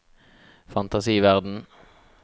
fantasiverden